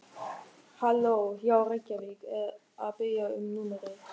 Halló, já Reykjavík er að biðja um númerið.